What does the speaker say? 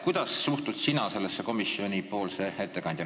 Kuidas sina komisjoni ettekandjana sellesse suhtud?